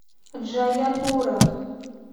джаяпура